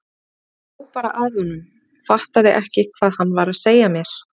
Ég hló bara að honum, fattaði ekki hvað hann var að segja mér.